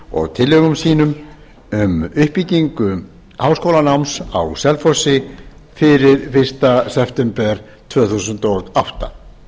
og tillögum sínum um uppbyggingu háskólanáms á selfossi fyrir fyrsta september tvö þúsund og átta